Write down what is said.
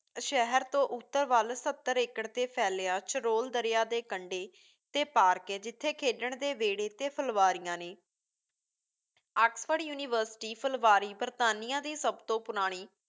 ਸ਼ਹਿਰ ਤੋਂ ਉੱਤਰ ਵੱਲ ਸੱਤਰ ਏਕੜ 'ਤੇ ਫੈਲਿਆ ਚਰੋਲ ਦਰਿਆ ਦੇ ਕੰਡੇ ਤੇ ਪਾਰਕ ਏ ਜਿਥੇ ਖੇਡਣ ਦੇ ਵਿਹੜੇ ਅਤੇ ਫਲਵਾਰੀਆਂ ਨੇਂ। ਆਕਸਫ਼ੋਰਡ ਯੂਨੀਵਰਸਿਟੀ ਫਲਵਾਰੀ ਬਰਤਾਨੀਆ ਦੀ ਸਭ ਤੋਂ ਪੁਰਾਣੀ